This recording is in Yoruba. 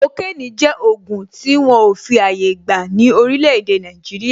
Kokénì jẹ́ ògùn tí wọn ò fi àyè gbà ní orílè èdè Nàìjíríà.